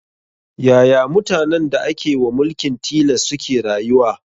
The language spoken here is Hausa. Yaya mutanen da ake wa mulkin tilas suke rayuwa